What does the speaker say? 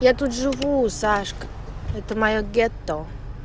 я тут живу сашка это моё гетто